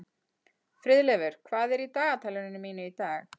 Friðleifur, hvað er í dagatalinu mínu í dag?